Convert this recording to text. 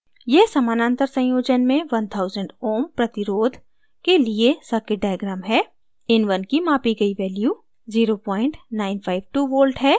यह समानंतर संयोजन में 1000 ω ohm प्रतिरोध के लिए circuit diagram है in1 की मापी गई value 0952v है